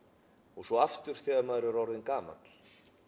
og svo aftur þegar maður er orðinn gamall